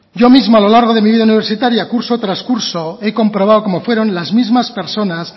yo mismo a lo largo de mi vida universitaria curso tras curso he comprobado cómo fueron las mismas personas